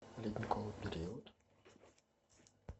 ледниковый период